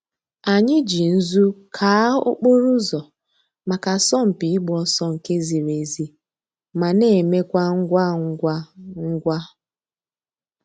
Ànyị̀ jì nzù káa òkpòrò̩ ǔzọ̀ mǎká àsọ̀mpị̀ ị̀gba òsọ̀ nke zìrì èzí ma na emekwa ngwa ngwa ngwa.